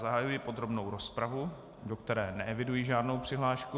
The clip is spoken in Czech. Zahajuji podrobnou rozpravu, do které neeviduji žádnou přihlášku.